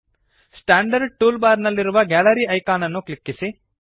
standard tool bar ನಲ್ಲಿರುವ gallery icon ಅನ್ನು ಕ್ಲಿಕ್ಕಿಸಿ